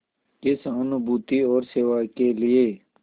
की सहानुभूति और सेवा के लिए